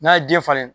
N'a ye den falen